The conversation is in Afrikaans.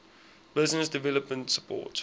business development support